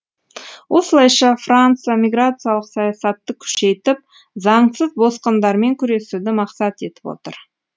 осылайша франция миграциялық саясатты күшейтіп заңсыз босқындармен күресуді мақсат етіп отыр